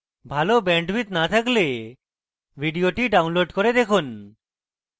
ভাল bandwidth না থাকলে ভিডিওটি download করে দেখুন